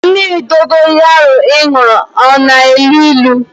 Mmiri dogoyaro ị ṅụrụ a na-elu ilu?